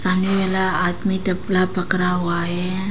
सामने वाला आदमी तबला पकड़ा हुआ है।